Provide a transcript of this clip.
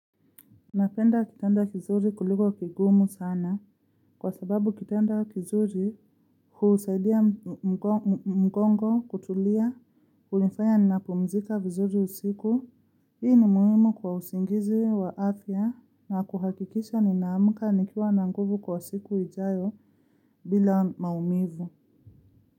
Napenda kitanda kizuri kuliko kigumu sana kwa sababu kitanda kizuri husaidia mgongo kutulia hunifanya ninapumzika vizuri usiku hii ni muhimu kwa usingizi wa afya na kuhakikisha nina amka nikiwa na nguvu kwa siku ijayo bila maumivu.